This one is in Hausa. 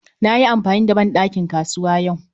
Na yi amfani da ban ɗakin kasuwa yau